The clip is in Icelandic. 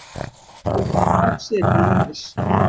Þjórsá séð til norðurs.